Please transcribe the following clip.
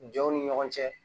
Jɔnw ni ɲɔgɔn cɛ